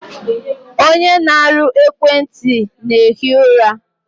Onye na-arụ ekwenti na-ehi ụra.